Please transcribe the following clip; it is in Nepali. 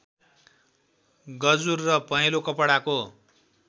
गजुर र पहेँलो कपडाको